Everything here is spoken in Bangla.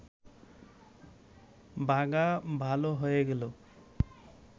বাঘা ভাল হয়ে গেল